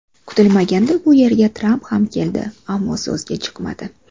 Kutilmaganda bu yerga Tramp ham keldi, ammo so‘zga chiqmadi.